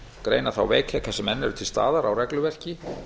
greina þá veikleika sem enn eru til staðar á regluverki